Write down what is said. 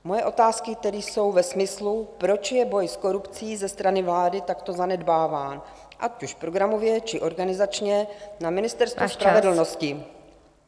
Moje otázky tedy jsou ve smyslu, proč je boj s korupcí ze strany vlády takto zanedbáván, ať už programově, či organizačně, na Ministerstvu spravedlnosti...